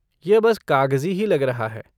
यह बस कागजी ही लग रहा है।